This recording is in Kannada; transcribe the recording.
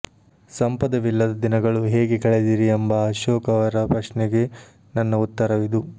ಸಂಪದವಿಲ್ಲದ ದಿನಗಳು ಹೇಗೆ ಕಳೆದಿರಿ ಎಂಬ ಅಶೋಕ್ ರವರ ಪ್ರಶ್ನೆಗೆ ನನ್ನ ಉತ್ತರವಿದು